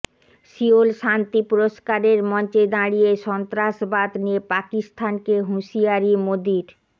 Seoul শান্তি পুরস্কারের মঞ্চে দাঁড়িয়ে সন্ত্রাসবাদ নিয়ে পাকিস্তানকে হুঁশিয়ারি মোদীর